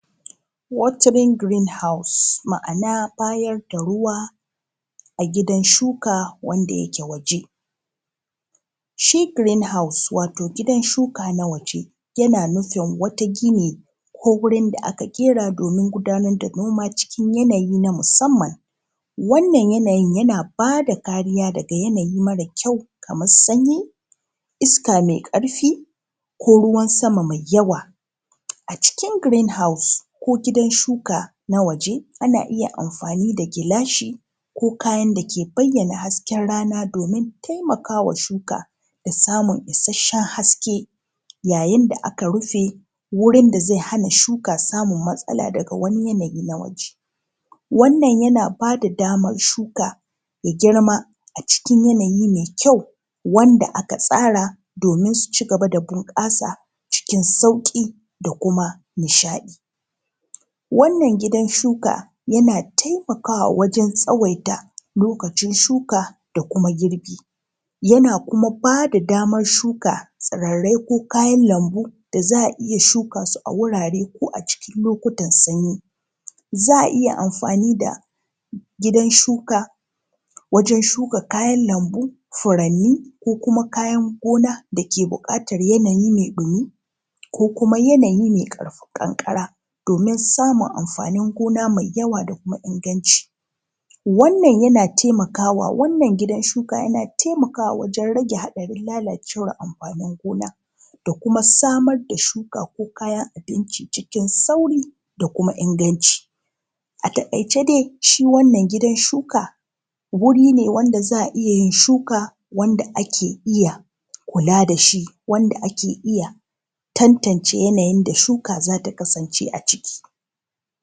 watering greenhouse ma’ana bayar da ruwa a gidan shuka wanda yake waje shi greenhouse wato gidan shuka na waje yana nufin wata gini ko gurin da aka ƙera domin gudanar da noma cikin yanayi na musamman wannan yanayin yana ba da kariya daga yanayi mara kyau kamar sanyi iska mai ƙarfi ko ruwan sama mai yawa a cikin greenhouse ko gidan shuka na waje ana iya amfani da gilashi ko kayan da ke bayyana hasken rana domin taimaka wa shuka da samun isasshen haske yayin da aka rufe wurin da zai hana shuka samun matsala daga wani yanayi na waje wannan yana ba da damar shuka ya girma a cikin yanayi mai kyau wanda aka tsara domin su ci gaba da bunƙasa cikin sauƙi da kuma nishaɗi wannan gidan shuka yana taimakawa wajen tsawaita lokacin shuka da kuma girbi yana kuma ba da damar shuka tsirrai ko kayan lambu da za a iya shuka su a wurare ko a cikin lokutan sanyi za a iya amfani da gidan shuka wajen shuka kayan lambu furanni ko kuma kayan gona da ke buƙatar yanayi mai ɗumi ko kuma yanayi mai ƙarfa ƙanƙara domin samun amfanin gona mai yawa da kuma inganci wannan yana taimaka wa wannan gidan shuka yana taimakawa wajen rage haɗarin lalacewar amfanin gona da kuma samar da shuka ko kayan abinci cikin sauri da kuma inganci: a taƙaice dai shi wannan gidan shuka wuri ne wanda za a iya yin shuka wanda ake iya kula da shi wanda ake iya tantance yanayin da shuka za ta kasance a ciki